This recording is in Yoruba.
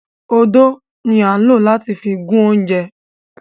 Ódó ni a n lo lati fi gun ounjẹ.